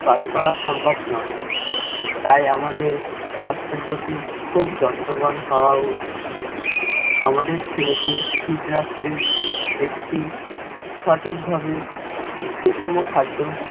কাজ করা সম্ভব নয়। তাই আমাদের স্বাস্থ্যের প্রতি খুব যত্নবান হওয়া উচিত। আমাদের ছেলেকে fit রাখতে একটি সঠিক ভাবে সুষম খাদ্য